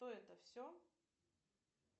то это все